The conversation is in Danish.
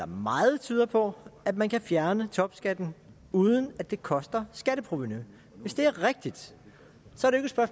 meget tyder på at man kan fjerne topskatten uden at det koster skatteprovenu hvis det er rigtigt